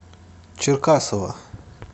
черкасова